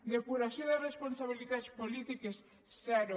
depuració de responsabilitats polítiques zero